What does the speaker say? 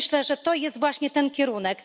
I myślę, że to jest właśnie ten kierunek.